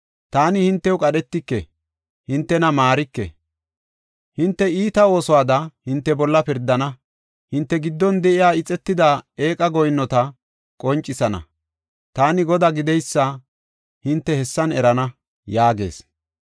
Taani hintew qadhetike; hintena maarike. Hinte iita oosuwada hinte bolla pirdana; hinte giddon de7iya ixetida eeqa goyinnota qoncisana. Taani Godaa gideysa hinte hessan erana’ ” yaagees.